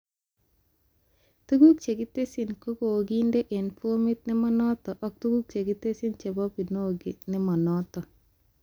Tuguk chekitesyii kokokindena eng formit nemanoto ak tuguk chekitesyi chebo Binogi nemanoto